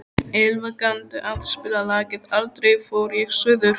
Ylva, kanntu að spila lagið „Aldrei fór ég suður“?